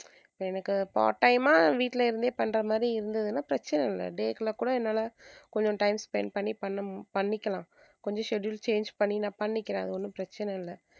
எனக்கு part time ஆ வீட்ல இருந்தே பண்றது மாதிரி இருந்ததுனா பிரச்சனை இல்ல day க்கு எல்லாம் கூட என்னால கொஞ்சம் time spend பண்ணி பண்ண~ பண்ணிக்கலாம் கொஞ்சம் schedule change பண்ணி நான் பண்ணிக்கிறேன் அது ஒண்ணும் பிரச்சனை இல்ல.